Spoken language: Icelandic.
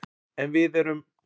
En við erum